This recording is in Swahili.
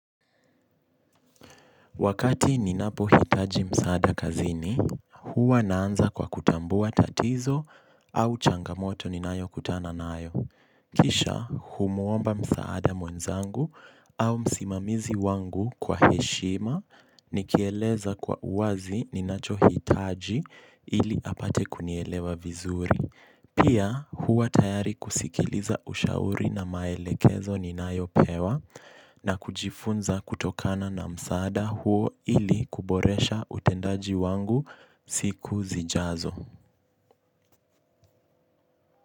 Wakati ninapohitaji msaada kazini, huwa naanza kwa kutambua tatizo au changamoto ninayokutana nayo. Kisha humuomba msaada mwenzangu au msimamizi wangu kwa heshima nikieleza kwa uwazi ninachohitaji ili apate kunielewa vizuri. Pia huwa tayari kusikiliza ushauri na maelekezo ninayopewa na kujifunza kutokana na msaada huo ili kuboresha utendaji wangu siku zijazo.